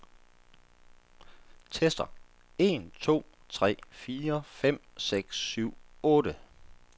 Tester en to tre fire fem seks syv otte.